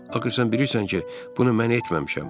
Axı sən bilirsən ki, bunu mən etməmişəm.